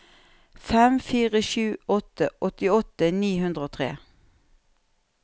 fem fire sju sju åttiåtte ni hundre og tre